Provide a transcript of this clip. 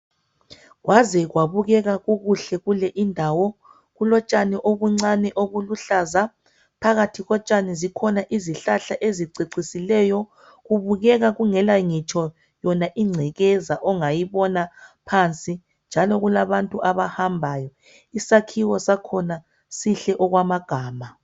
Kwaze kwabukeka kukuhle kule indawo kulotshani obuncane obuluhlaza phakathi kotshani zikhona izihlahla ezicecisileyo kubukeka kungela ngitsho yona ingcekeza ongayibona phansi njalo kulabantu abahambayo isakhiwo sakhona sihle okwamagama